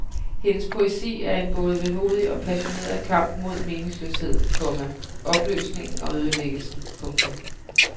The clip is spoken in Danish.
Hendes poesi er en både vemodig og passioneret kamp mod meningsløsheden, komma opløsningen og ødelæggelsen. punktum